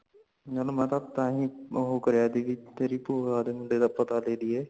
ਮੈਂ ਤਾ ਤਾਹੀ ਉਹ ਕਰਿਆ ਸੀ ਕੀ ਤੇਰੀ ਪੁਆਂ ਦੇ ਮੁੰਡੇ ਦਾ ਪਤਾ ਲੇਲੀਏ